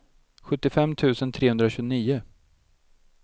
sjuttiofem tusen trehundratjugonio